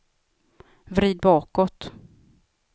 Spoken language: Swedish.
vrid bakåt